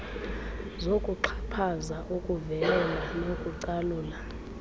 zokuxhaphaza ukuvelela nokucalula